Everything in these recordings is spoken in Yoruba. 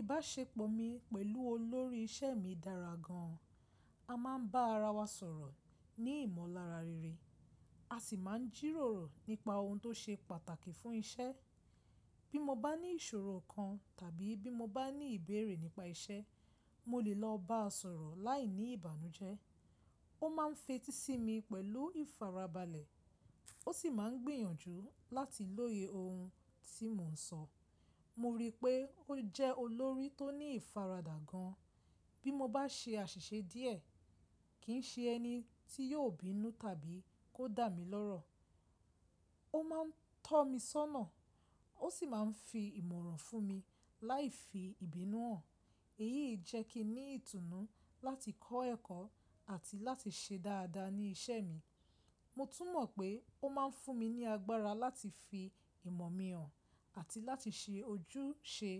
Ìbáṣepọ̀ mi pẹ̀lú olórí iṣẹ́ mi dára gan. A máa ń bá ara wa sọ̀rọ̀ ní ìmọ̀lára rere, a sì máa ń jíròrò nípa ohun tó ṣe pàtàkì fún iṣẹ́. Bí mo bá ní ìṣòro kan tàbí bí mo bá ní ìbéèrè nípa iṣẹ́, mo lè lọ bá a sọ̀rọ̀ láìní ìbànújẹ́. Ó máa ń fetí sí mi pẹ̀lú ìfarabalẹ̀, ó sì máa ń gbìyànjú láti lóye ohun tí mò ń sọ. Mo rí pé ó jẹ́ olórí tó ní ìfaradà gan. Bí mo bá ṣe àṣìṣe díẹ̀, kì í ṣe ẹni tí yóò bínú tàbí kó dà mí lọ́rọ̀. Ó máa ń tọ́ mi sọ́nà, ó sì máa ń fi ìmọ̀ràn fún mi láìfi ìbínú hàn. Èyí jẹ́ kí n ní ìtùnú láti kọ́ ẹ̀kọ́ àti láti ṣe dáadáa ní iṣẹ́ mi. Mo tún mọ̀ pé ó máa ń fún mi ní agbára láti fi ìmọ̀ mi hàn àti láti ṣe ojúṣe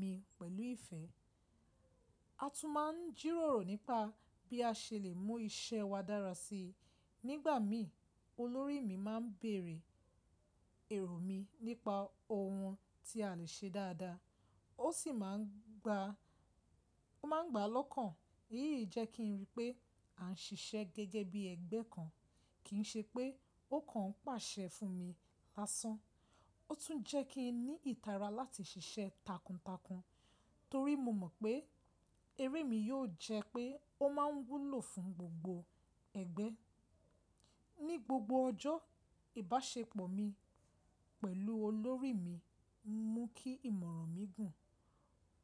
mi pẹ̀lú ìfẹ́. A tún máa ń jíròrò nípa bí a ṣe lè mú iṣẹ́ wa dára sí i. Nígbà mí, olórí mi máa ń bèèrè èrò mi nípa ohun tí a lè ṣe dáadáa, ó sì máa ń gbá, ó máa ń gbá lọ́kàn. Èyí jẹ́ kí n rí pé à ń ṣiṣẹ́ gẹ́gẹ́ bí ẹgbẹ́ kan, kì í ṣe pé ó kan pàṣẹ fún mi lásán. Ó tún jẹ́ kí n ní ìtara láti ṣiṣẹ́ takuntakun torí mo mọ̀ pé eré mi yóò jẹ́ pé ó máa ń wúlò fún gbogbo ẹgbẹ́. Ni gbogbo ọjọ́, ìbáṣepọ̀ mi pẹ̀lú olórí mi ń mú kí ìmọ̀ràn mi gùn,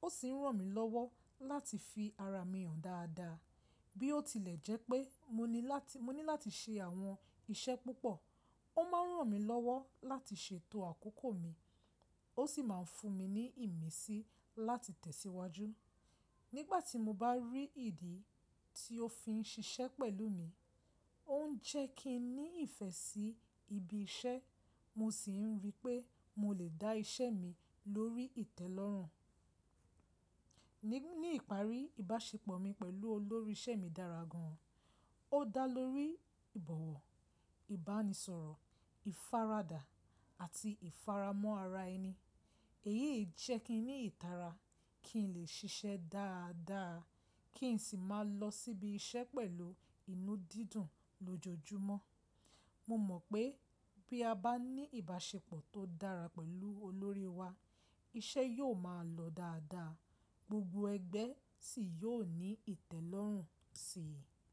ó sì ń ràn mí lọ́wọ́ láti fi ara mi hàn dáadáa. Bí ó tilẹ̀ jẹ́ pé mo ní láti, mo ní láti ṣe àwọn iṣẹ́ púpọ̀, ó máa ń ràn mí lọ́wọ́ láti ṣètò àkókò mi, ó sì máa ń fún mi ní ìmísí láti tẹ̀síwájú. Nígbà tí mo bá rí ìdí tí ó fi ń ṣiṣẹ́ pẹ̀lú mi, ó ń jẹ́ kí n ní ìfẹ́ sí ibi iṣẹ́, mo sì ń rí pé mo lè dá iṣẹ́ mi lórí ìtẹ́lọ́rùn. Ni, ní ìparí, ìbáṣepọ̀ mi pẹ̀lú olórí iṣẹ́ mi dára gan. Ó dá lórí ìbọ̀wọ̀, ìbánisọ̀rọ̀, ìfaradà àti ìfaramọ́ ara ẹni. Èyí jẹ́ kí n ní ìtara kí n lè ṣiṣẹ́ dáadáa, kí n sì máa lọ síbi iṣẹ́ pẹ̀lú inú dídùn lójoojúmọ́. Mo mọ̀ pé bí a bá ní ìbáṣepọ̀ tó dára pẹ̀lú olórí wa, iṣẹ́ yóò máa lọ dáadáa, gbogbo ẹgbẹ́ sì yóò ní ìtẹ́lọ́rùn sí i.